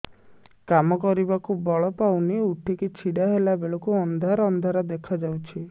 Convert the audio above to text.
କାମ କରିବାକୁ ବଳ ପାଉନି ଉଠିକି ଛିଡା ହେଲା ବେଳକୁ ଅନ୍ଧାର ଅନ୍ଧାର ଦେଖା ଯାଉଛି